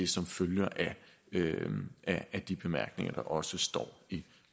som følger af de bemærkninger der også står i